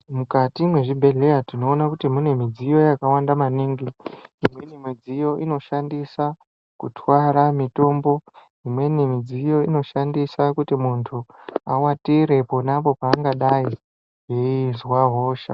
Mukati mezvibhedhleya tinoona kuti mune midziyo yakawanda maningi, imweni midziyo inoshandisa kutwara mitombo, imweni midziyo inoshandisa kuti munthu awatire ponapo paangadai eizwa hosha.